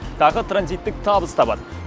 тағы транзиттік табыс табады